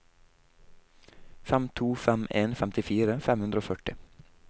fem to fem en femtifire fem hundre og førti